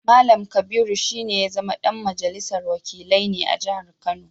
Mallam Kabiru shi ne ya zama ɗan majalisar wakilai ne a jihar Kano